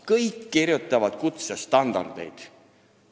Kõik kirjutavad kutsestandardeid.